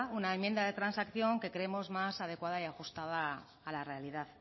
una enmienda de transacción que creemos más adecuada y ajustada a la realidad